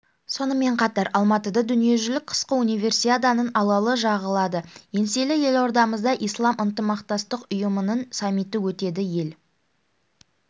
сонымен қатар алматыда дүниежүзілік қысқы универсиаданың алауы жағылады еңселі елордамызда ислам ынтымақтастық ұйымының саммиті өтеді ел